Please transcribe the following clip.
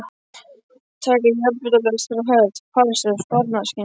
Taka járnbrautarlest frá Höfn til Parísar í sparnaðarskyni.